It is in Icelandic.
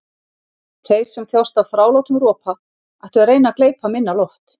Þeir sem þjást af þrálátum ropa ættu að reyna að gleypa minna loft.